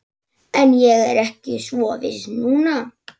En ég er ekki svo viss núna